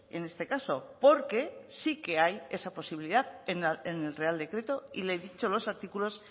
en este caso porque sí que hay esa posibilidad en el real decreto y le he dicho los artículos